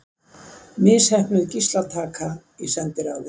Misheppnuð gíslataka í sendiráði